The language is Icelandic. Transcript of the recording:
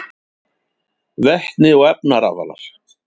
Vetni og efnarafalar: